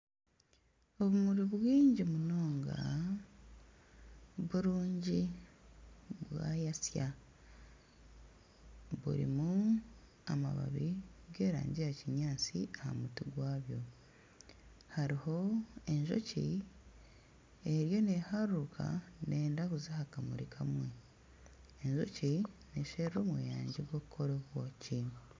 Obumuri bwingi munonga burungi bwayatsya burimu amabaabi g'erangi ya kinyaatsi aha mutwe gwabyo hariho enjoki eriyo neharuruuka neyenda kuza aha kamuri kamwe, enjoki nesherura omweyangye gw'okukora obwoki.